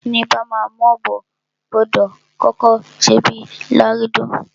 Ẹni bama m'obo, gbọdọ̀ kọ́kọ́ ṣe bíi lágídò.